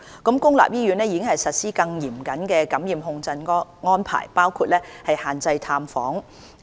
公立醫院並已實施更嚴謹的感染控制安排，包括限制探訪。